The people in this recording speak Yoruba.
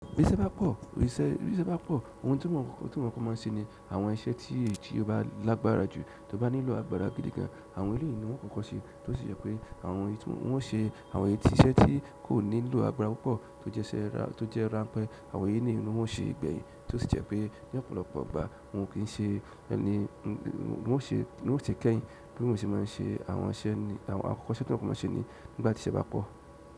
Bí iṣẹ́ bá pọ̀, iṣẹ́, bi iṣẹ́ bá pọ̀, ohun tí wọ́n kọ́ má ń ṣe ni àwọn iṣẹ́ tí ó bá lágbára jù, tí ó bá nílò agbára gidi gan, àwọn ìru yìí ni wọ́n kọ́kọ́ ṣe, tí ó sì jẹ́ pé àwọn èyí tí wọ́n ṣe àwọn èyí tí iṣẹ́ tí kò nílò agbára púpọ̀ tó jẹ́ ranpẹ́, àwọn èyí nìyí ni wọ́n ó ṣe gbẹ̀yìn, tí ó sì jẹ́ pé ní ọ̀pọ̀lọpọ̀ ìgbà wọn ò kí ń ṣe ẹni, wọn ò ṣe kẹ́yìn. Bí wọ́n ṣe má ń ṣe àwọn iṣẹ́ ní àwọn akọ́kọ́ iṣẹ́ tí wọ́n kọ́ má ń ṣe nígbà tí iṣẹ́ bá pọ̀.